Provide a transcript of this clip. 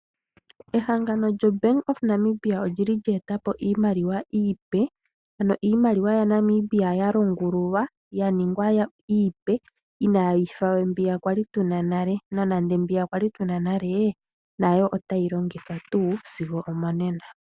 Ehangano lyombaanga yaNamibia olyili lyeeta po iimaliwa iipe, ano iimaliwa yaNamibia yalongululwa yaningwa iipe iinayi fawe mbiya kwali tuna nale, nonande mbi kwali tuna nale nayo otayi longithwa tuu sigo omonena.